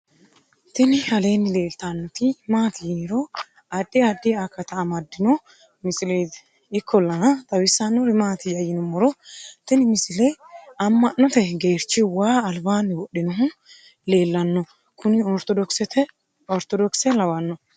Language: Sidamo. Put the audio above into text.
tini aleenni leeltannoti maati yiniro addi addi akata amaddino misileeti ikkollana xawissannori maatiyya yinummoro tini misile amma'note geerchi waa albaanni wodhinohu leellanno kuni ortodokise lawanno